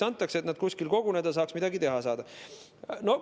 Ka selleks, et nad kuskil koguneda saaks, midagi teha saaks.